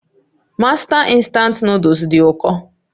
Mástá Instant Nụ́dúls dị ụkọ